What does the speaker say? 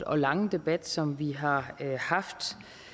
og lange debat som vi har haft